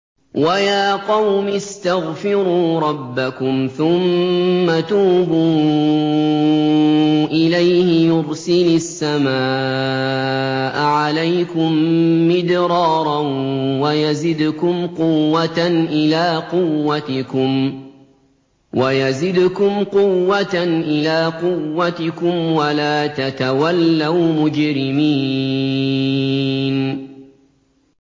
وَيَا قَوْمِ اسْتَغْفِرُوا رَبَّكُمْ ثُمَّ تُوبُوا إِلَيْهِ يُرْسِلِ السَّمَاءَ عَلَيْكُم مِّدْرَارًا وَيَزِدْكُمْ قُوَّةً إِلَىٰ قُوَّتِكُمْ وَلَا تَتَوَلَّوْا مُجْرِمِينَ